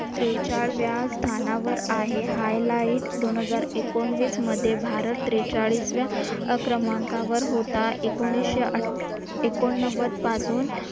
त्रेचाळव्या स्थानावर आहे. highlight दोनहजार एकोणविस मध्ये भारत त्रेचाळीसव्या क्रमांकावर होता. एकोणीसशे एकोणनव्वद पासून